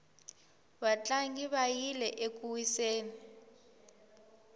vatlangi va yile eku wiseni